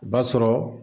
O b'a sɔrɔ